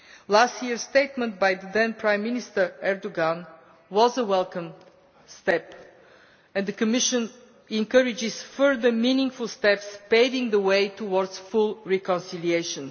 Last year's statement by the then Prime Minister, Mr Erdogan, was a welcome step and the Commission encourages further meaningful steps paving the way towards full reconciliation.